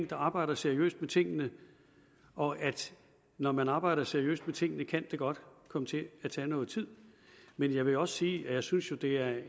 der arbejder seriøst med tingene og når man arbejder seriøst med tingene kan det godt komme til at tage noget tid men jeg vil også sige at jeg synes det er